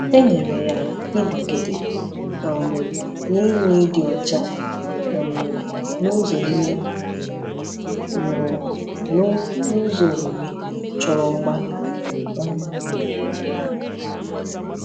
Enyere ya, ịnọgide um na-enwe ịdị ọcha um n’ụzọ ime mmụọ na n’ụzọ omume chọrọ mgbalị. um